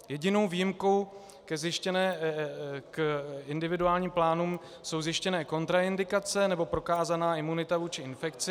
Jedinou výjimku k individuálním plánům jsou zjištěné kontraindikace nebo prokázaná imunita vůči infekci.